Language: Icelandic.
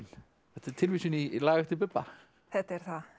þetta er tilvísun í lag eftir Bubba þetta er það